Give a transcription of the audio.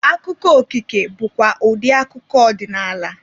Akụkọ okike bụkwa ụdị akụkọ ọdịnaala.